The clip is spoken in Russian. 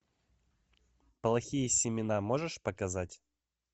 плохие семена можешь показать